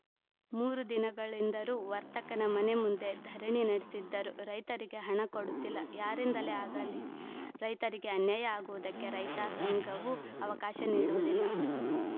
ಮೂರು ದಿನಗಳಿಂದರೂ ವರ್ತಕನ ಮನೆ ಮುಂದೆ ಧರಣಿ ನಡೆಸಿದ್ದರೂ ರೈತರಿಗೆ ಹಣ ಕೊಡುತ್ತಿಲ್ಲ ಯಾರಿಂದಲೇ ಆಗಲಿ ರೈತರಿಗೆ ಅನ್ಯಾಯ ಆಗುವುದಕ್ಕೆ ರೈತ ಸಂಘವೂ ಅವಕಾಶ ನೀಡುವುದಿಲ್ಲ